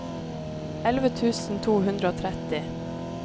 elleve tusen to hundre og tretti